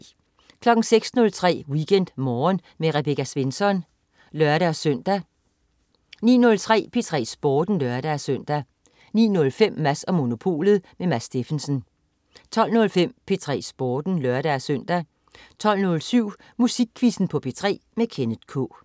06.03 WeekendMorgen med Rebecca Svensson (lør-søn) 09.03 P3 Sporten (lør-søn) 09.05 Mads & Monopolet. Mads Steffensen 12.05 P3 Sporten (lør-søn) 12.07 Musikquizzen på P3. Kenneth K